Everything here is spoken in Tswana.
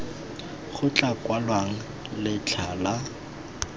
go tla kwalwang letlha la